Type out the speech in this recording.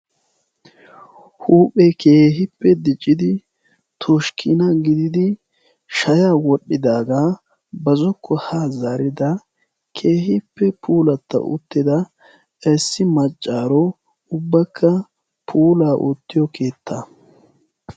huuphe keehippe diccidi toshkkina gididi shaya wodhdhidaagaa ba zokko ha zarida keehippe puulatta uttida issi maccaaro ubbakka puulaa oottiyo keetta